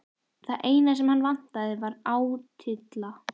Það eina sem hann vantaði var átylla.